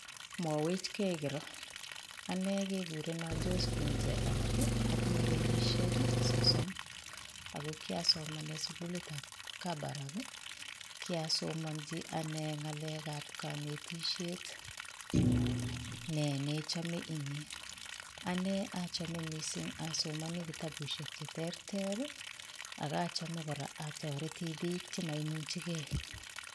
Mwaweech gei korong ane kegureenan Josephine langat atinyei kenyisiek sosom ako kiasomanet sugulita ab kabarak ii kiasomanjii ane ngalek ab kanetisheet, ne ne chame inyei ane achame asomanii kitabushek che terter ak achame kora ataretii biik che ma imuchei kei.